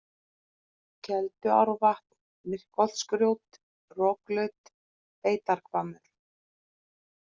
Kelduárvatn, Myrkholtsgrjót, Roklaut, Beitarhvammur